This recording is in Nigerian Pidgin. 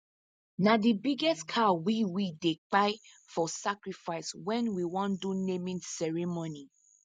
na the biggest cow we we dey kpai for sacrifice when we wan do naming ceremony